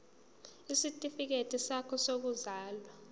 isitifikedi sakho sokuzalwa